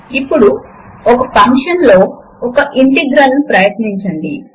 ఇక్కడ చిన్న grey box ఉండడమును గమనించండి